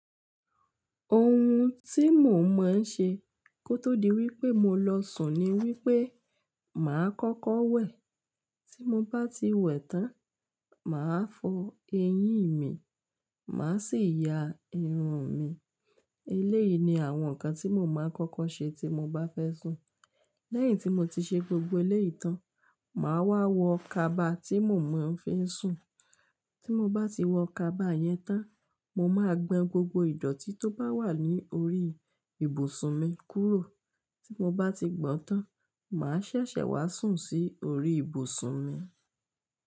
Ohun tí mo máa ń ṣe kó tó di wípé mo lọ sùn ni wípé màá kọ́kọ́ wẹ̀. Tí mo bá ti wẹ̀ tán, màá fọ eyín mi, màá sì ya irun mi. Eléyìí ni àwọn nǹkan tí mo máa ń kọ́kọ́ ṣe tí mo bá fẹ́ sùn. Lẹ́yìn tí mo ti ṣe gbogbo eléyìí tán, màá wá wọ kaba tí mo máa ń fí sùn. Tí mo bá ti wọ kaba yẹn tán, mo máa gbọn gbogbo ìdọ̀tí tó bá wà ní orí ibùsùn mi kúrò. Tí mo bá ti gbọn tán, màá ṣẹ̀ṣẹ̀ wá sùn sí orí ibùsùn mi.